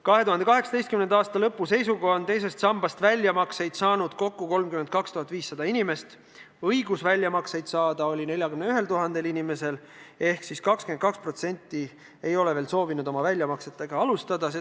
2018. aasta lõpu seisuga on teisest sambast tehtud väljamakseid kokku 32 500 inimesele, õigus väljamakseid saada oli aga 41 000 inimesel ehk 22% ei ole veel soovinud väljamaksete tegemist alustada.